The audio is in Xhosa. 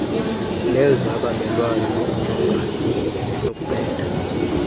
nezabamelwane nokujongana nokubetha